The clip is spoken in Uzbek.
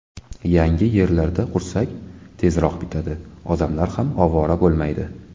Yangi yerlarda qursak, tezroq bitadi, odamlar ham ovora bo‘lmaydi.